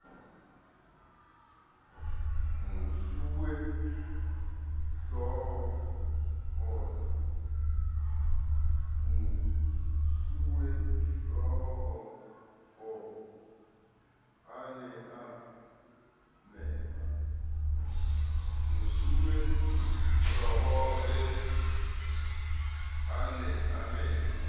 mosuwehlooho a ne a mema